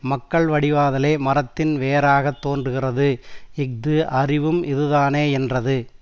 மக்கள் வடிவாதலே மரத்தின் வேறாகத் தோன்றுகிறது இஃது அறிவும் இதுதானே யென்றது